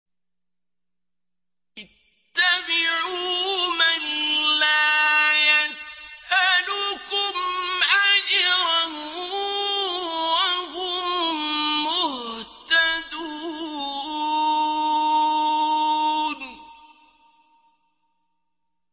اتَّبِعُوا مَن لَّا يَسْأَلُكُمْ أَجْرًا وَهُم مُّهْتَدُونَ